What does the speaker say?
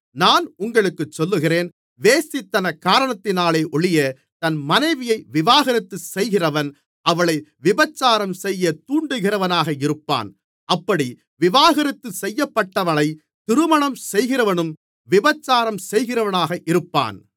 நான் உங்களுக்குச் சொல்லுகிறேன் வேசித்தனக் காரணத்தினாலொழிய தன் மனைவியை விவாகரத்து செய்கிறவன் அவளை விபசாரம்செய்யத் தூண்டுகிறவனாக இருப்பான் அப்படி விவாகரத்து செய்யப்பட்டவளைத் திருமணம் செய்கிறவனும் விபசாரம் செய்கிறவனாக இருப்பான்